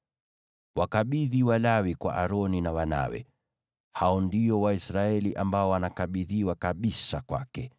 Wakabidhi Walawi kwa Aroni na wanawe; hao ndio Waisraeli ambao wanakabidhiwa kwake kabisa.